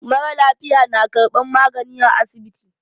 Mara lafiya na karban magani a asibiti.